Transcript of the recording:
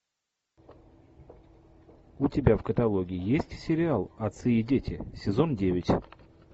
у тебя в каталоге есть сериал отцы и дети сезон девять